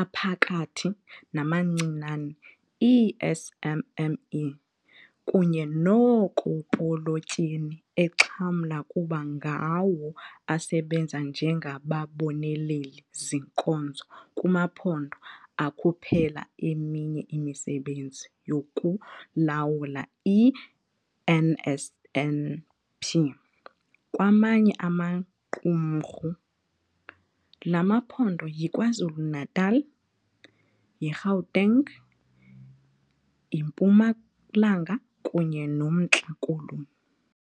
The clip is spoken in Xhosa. aphakathi, namancinane, ii-SMME, kunye nookopolotyeni exhamla kuba ngawo asebenza njengababoneleli-zinkonzo kumaphondo akhuphela eminye imisebenzi yokulawula i-NSNP kwamanye amaqumrhu. Lla maphondo yiKwaZulu-Natal, iGauteng, iMpumalanga kunye noMntla Koloni.